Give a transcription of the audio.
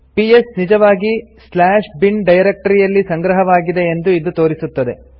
PS ನಿಜವಾಗಿ bin directory ಯಲ್ಲಿ ಸಂಗ್ರಹವಾಗಿದೆ ಎಂದು ಇದು ತೋರಿಸುತ್ತದೆ